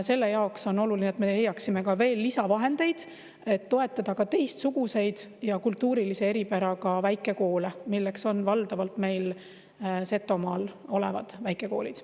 Sellepärast on oluline, et me leiaksime veel lisavahendeid, et toetada ka teistsuguseid ja kultuurilise eripäraga väikekoole, milleks on valdavalt meil Setomaal olevad väikekoolid.